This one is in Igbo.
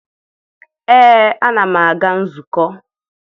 ee, ana m aga nzukọ.